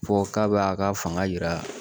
Fɔ k'a b'a ka fanga jira